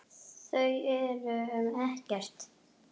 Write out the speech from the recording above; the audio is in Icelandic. Þau eru um Ekkert.